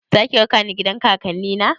Zaki raka ni gidan kakanni na?